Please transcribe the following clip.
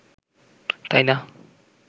তাই না